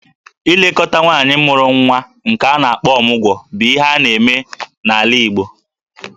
Ilekọta nwaanyị mụrụ nwa nke a na-akpọ 'Ọmụgwọ' bụ ihe a na-eme n'ala Igbo